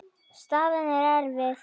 Staðan er erfið.